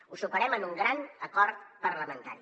ho superem amb un gran acord parlamentari